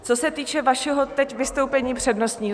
Co se týče vašeho teď vystoupení přednostního.